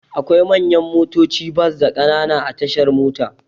Akwai manyan motaci bas da Ƙanana a tashar mota.